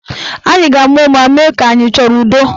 Anyị ga-ama ụma mee ka anyị achọrọ udo.